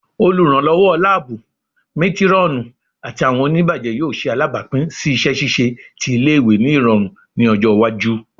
Oluranlọwọ laabu, matron, ati awọn onibajẹ yoo ṣe alabapin si iṣẹ ṣiṣe ti ile-iwe ni irọrun ni ọjọ iwaju